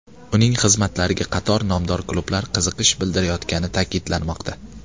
Uning xizmatlariga qator nomdor klublar qiziqish bildirayotgani ta’kidlanmoqda.